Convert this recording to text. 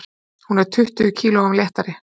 Hún er tuttugu kílóum léttari.